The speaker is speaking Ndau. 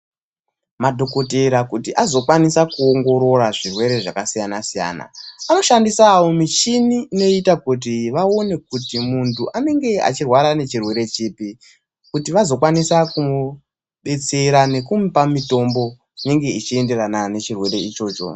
Madhogodheya kuti azokwanisa kuongorora zvirwere zvakasiyana-siyana, anoshandisawo michini inoita kut vaone kuti muntu anenge achirwara nechirwere chipi, kuti vazokwanisa kumudetsera nekumupa mutombo inenge ichienderana nechirwere ichocho.